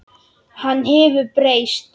Hann hefur breyst.